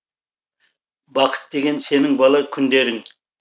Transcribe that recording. бақыт деген сенің бала күндерің